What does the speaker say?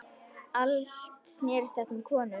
Allt snerist þetta um konur.